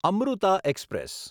Amrita express